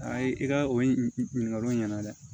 Ayi i ka o ɲininkaliw ɲɛna dɛ